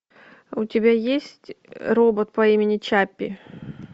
у тебя есть робот по имени чаппи